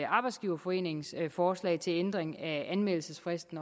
arbejdsgiverforenings forslag til ændring af anmeldelsesfristen